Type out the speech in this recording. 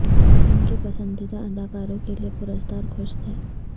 ان کے پسندیدہ اداکاروں کے لئے پرستار خوش تھے